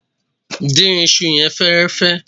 Dín isu yẹn fẹ́ẹ́rẹ́fẹ́.